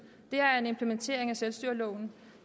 sagde er selvstyreloven